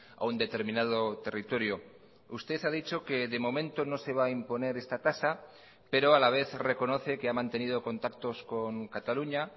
a un determinado territorio usted ha dicho que de momento no se va a imponer esta tasa pero a la vez reconoce que ha mantenido contactos con cataluña